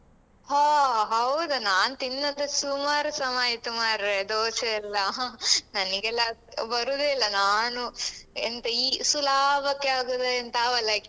ಹೋ ಹೌದ ನಾನ್ ತಿನ್ನದೇ ಸುಮಾರು ಸಮಯ ಆಯ್ತು ಮಾರ್ರೇ ದೋಸೆಯೆಲ್ಲ ನನಿಗೆಲ್ಲ ಅದ್ ಬರುದೇ ಇಲ್ಲ ನಾನು ಎಂತ ಈ ಸುಲಾಭಕ್ಕೆ ಆಗುದ ಎಂತ ಅವಲಕ್ಕಿ.